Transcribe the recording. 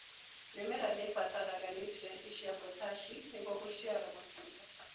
Mĩmera nĩibataraga nutrienti cia potaci nĩguo gũciara matunda.